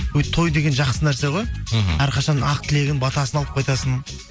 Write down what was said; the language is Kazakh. өй той деген жақсы нәрсе ғой мхм әрқашан ақ тілегін батасын алып қайтасың